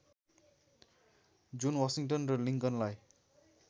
जुन वाशिंटन र लिङ्कनलाई